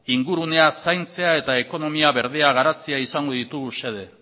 ingurunea zaintzea eta ekonomia berdea garatzea izango ditugu xede